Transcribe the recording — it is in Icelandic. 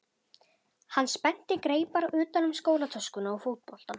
Hann spennti greipar utan um skólatöskuna og fótboltann.